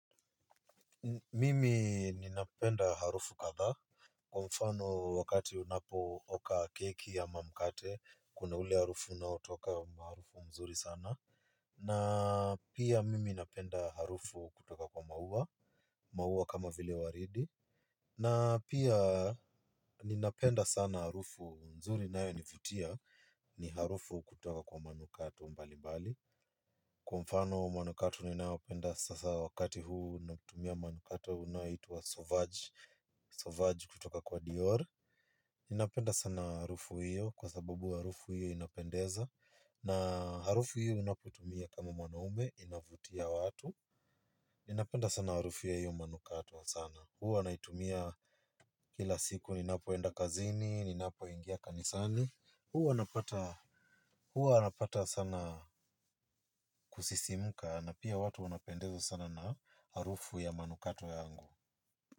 Mimi ninapenda harufu kadhaa. Kwa mfano wakati unapo oka keki ama mkate kuna ule harufu unaotoka maarufu mzuri sana. Na pia mimi napenda harufu kutoka kwa mauwa. Mauwa kama vile waridi. Na pia ninapenda sana harufu nzuri inayonivutia ni harufu kutoka kwa manukato mbali mbali. Kwa mfano manukato ninayopenda sasa wakati huu unatumia manukato unaoitwa Sovaj Sovaj kutoka kwa Dior. Ninapenda sana harufu hiyo kwa sababu harufu hiyo inapendeza. Na harufu hiyo unapotumia kama mwanaume inavutia watu. Ninapenda sana harufu ya hiyo manukato sana. Huwa naitumia kila siku ninapoenda kazini, ninapo ingia kanisani. Huwa napata sana kusisimuka na pia watu wanapendezwa sana na harufu ya manukato yangu.